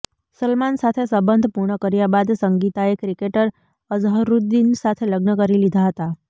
સલમાન સાથે સંબંધ પૂર્ણ કર્યા બાદ સંગીતાએ ક્રિકેટર અઝહરુદીન સાથે લગ્ન કરી લીધા હતા